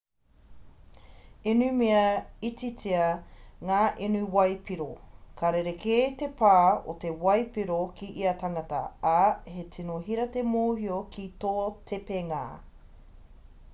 inumia ititia ngā inu waipiro ka rerekē te pā o te waipiro ki ia tangata ā he tino hira te mōhio ki tō tepenga